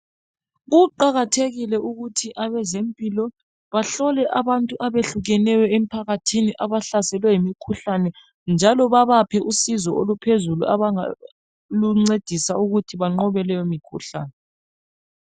Kuqakathekile ukuthi abezempilo bahlole abantu abahlukeneyo emphakathini abahlaselwe yimikhuhlane njalo babaphe usizo oluphezulu abangaluncedisa ukuthi banqobe leyo mikhuhlane.